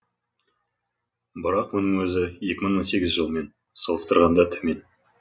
бірақ мұның өзі екі мың он сегізнші жылмен салыстырғанда төмен